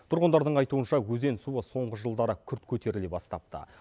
тұрғындардың айтуынша өзен суы соңғы жылдары күрт көтеріле бастапты